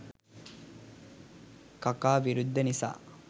කකා විරුද්ධ නිසා